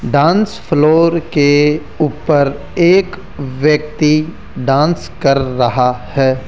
Dance floor के ऊपर एक व्यक्ति डांस कर रहा है।